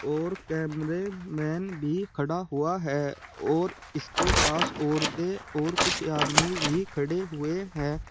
और cameraman भी खड़ा हुआ है और इसके पास औरतें और कुछ आदमी भी खड़े हुए हैं।